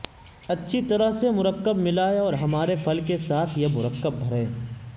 اچھی طرح سے مرکب ملائیں اور ہمارے پھل کے ساتھ یہ مرکب بھریں